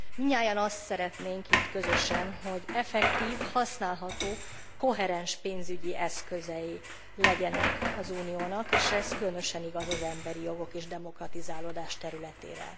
Mindnyájan azt szeretnénk itt közösen, hogy effektív, használható, koherens pénzügyi eszközei legyenek az Uniónak, és ez különösen igaz az emberi jogok és demokratizálódás területére.